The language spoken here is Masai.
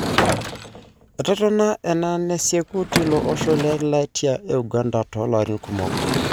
Etotona ana neisiku tilo osho le latia Uganda tolarin kumok.